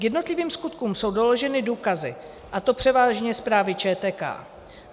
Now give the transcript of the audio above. K jednotlivým skutkům jsou doloženy důkazy, a to převážně zprávy ČTK.